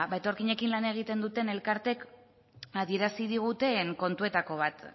etorkinekin lan egiten duten elkartek adierazi diguten kontuetako bat